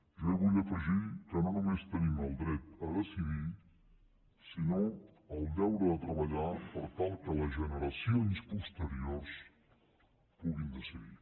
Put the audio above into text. jo hi vull afegir que no només tenim el dret a decidir sinó el deure de treballar per tal que les generacions posteriors puguin decidir